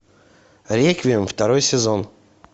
реквием второй сезон